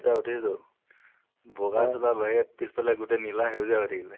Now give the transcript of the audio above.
যেতিয়া উঠিছো বগা চোলাৰ বাহিৰে পিছফালে গোটেই নিলা সেউজীয়া হয় থাকিলে।